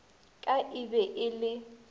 ka e be e le